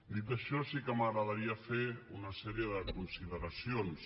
dit això sí que m’agradaria fer una sèrie de consideracions